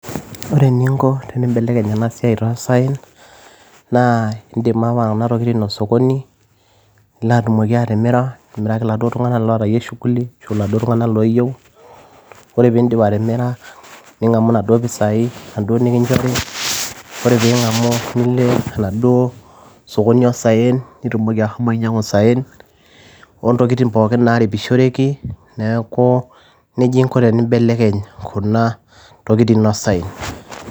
Ore eninko tenimbelekeny ena siai toosaen naa indiim aawa kunatokitin osokoni lino atumoki atimira nilo akiraki iltunganak ootayie shuguli arashuu iladuo tung'anak ooyieu ore peeindip atimira ning'amu inaduo pisai inaduo nikinchoriatai ning'amu nilo enaduo sokoni oosaen nitumoki ashomo ainyiang'u isaen ontokitin pooki naaripishoreki neeku nejia ingo teneibelekeny kuna tokitin toosaen.